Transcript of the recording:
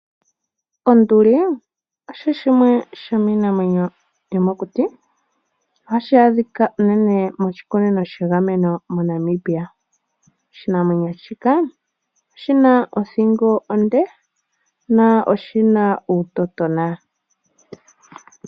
Onduli osho shimwe shomiinamwenyo yomokuti ohashi adhika uunene moshikunino shegameno moNamibia. Oshinamwenyo shika oshina othingo onde no oshina uutotona.